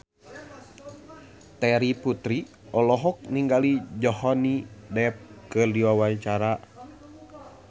Terry Putri olohok ningali Johnny Depp keur diwawancara